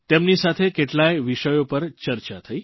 તેમની સાથે કેટલાય વિષયો પર ચર્ચા થઇ